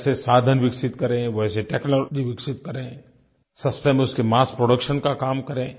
वैसे साधन विकसित करें वैसी टेक्नोलॉजी विकसित करें सस्ते में उसके मस्स प्रोडक्शन का काम करें